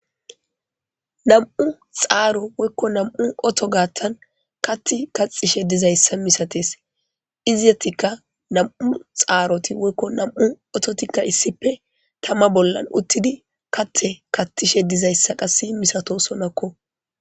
Nam'u xaaro woykko nam'u oto gaattan katti kaxishe dizayssa misates izitatikka nam'u xaaroti woykko nam'u ototikka issippe tama bollan uttidi katte kattishe dizayssa qass misato sonakko.